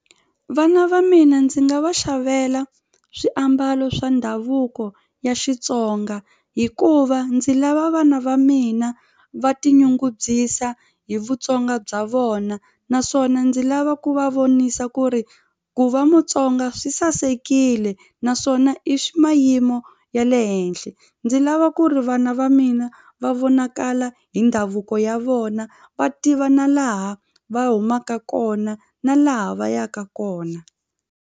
Vana va mina ndzi nga va xavela swiambalo swa ndhavuko ya Xitsonga hikuva ndzi lava vana va mina va tinyungubyisa hi Vutsonga bya vona naswona ndzi lava ku va vonisa ku ri ku va Mutsonga swi sasekile naswona i mayimo ya le henhla ndzi lava ku ri vana va mina va vonakala hi ndhavuko ya vona va tiva na laha va humaka kona na laha va yaka kona.